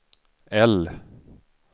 L